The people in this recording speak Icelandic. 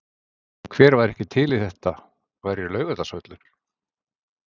Hver væri ekki til í að þetta væri Laugardalsvöllur?